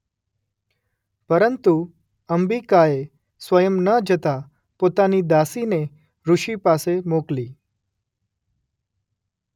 પરંતુ અંબિકાએ સ્વયં ન જતા પોતાની દાસીને ઋષિ પાસે મોકલી.